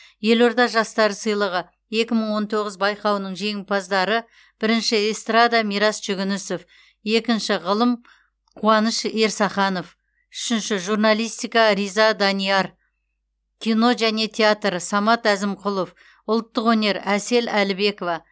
елорда жастары сыйлығы екі мың он тоғыз байқауының жеңімпаздары бірінші эстрада мирас жүгінісов екінші ғылым қуаныш ерсаханов үшінші журналистика риза данияр кино және театр самат әзімқұлов ұлттық өнер әсел әлібекова